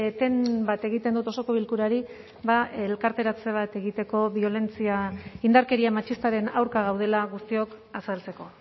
eten bat egiten dut osoko bilkurari elkarteratze bat egiteko indarkeria matxistaren aurka gaudela guztiok azaltzeko